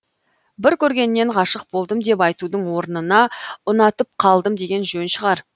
бір көргеннен ғашық болдым деп айтудың орнына ұнатып қалдым деген жөн шығар